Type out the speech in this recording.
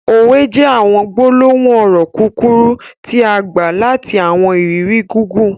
Òwè jẹ̀ awọn gbolohun ọrọ kukuru tia gba lati awọn iriri gigun.